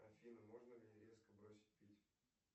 афина можно ли резко бросить пить